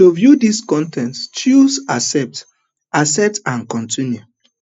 to view dis con ten t choose accept accept and continue